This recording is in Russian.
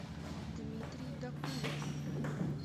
дмитрий докуев